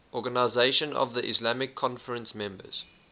organisation of the islamic conference members